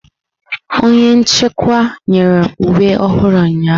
Onye nchịkwa nyere uwe ọhụrụ ụnyahụ.